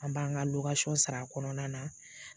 An b'an ka sara a kɔnɔna na.